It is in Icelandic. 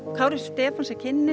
Kári Stefáns er kynnir